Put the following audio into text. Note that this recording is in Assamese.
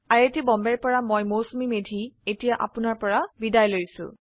আই আই টী বম্বে ৰ পৰা মই মৌচুমী মেধী এতিয়া আপুনাৰ পৰা বিদায় লৈছো